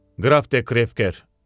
Graf de Kfer.